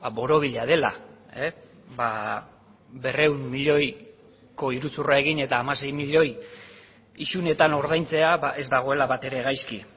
borobila dela berrehun milioiko iruzurra egin eta hamasei milioi isunetan ordaintzea ez dagoela batere gaizki